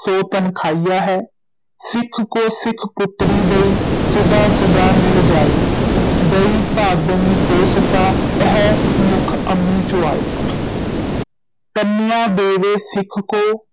ਸੋ ਤਨਖਾਹੀਆ ਹੈ, ਸਿੱਖ ਕੋ ਸਿੱਖ ਪੁਤ੍ਰੀ ਦਈ, ਸੁਧਾ ਸੁਧਾ ਮਿਲ ਜਾਇ, ਦਈ ਭਾਵਣੀ ਕੋ ਸੁਤਾ, ਅਹਿ ਮੁਖ ਅਮੀ ਚੁਆਇ ਕੰਨਿਆ ਦੇਵੈ ਸਿੱਖ ਕੋ